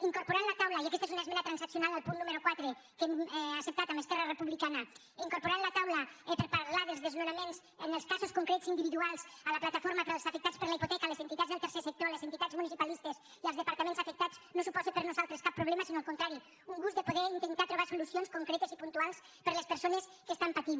incorporar a la taula i aquesta és una esmena transaccional al punt número quatre que hem acceptat amb esquerra republicana per parlar dels desnonaments en els casos concrets individuals la plataforma d’afectats per la hipoteca les entitats del tercer sector les entitats municipalistes i els departaments afectats no suposa per a nosaltres cap problema sinó al contrari un gust de poder intentar trobar solucions concretes i puntuals per a les persones que pateixen